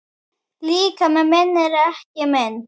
Líkami minn er ekki minn.